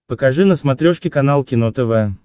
покажи на смотрешке канал кино тв